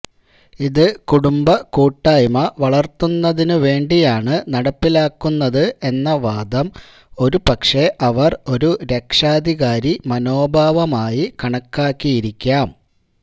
ഇത് കുടുംബക്കൂട്ടായ്മ വളര്ത്തുന്നതിനു വേണ്ടിയാണ് നടപ്പിലാക്കുന്നത് എന്ന വാദം ഒരു പക്ഷേ അവര് ഒരു രക്ഷാധികാരി മനോഭാവമായി കണക്കാക്കിയിരിക്കാം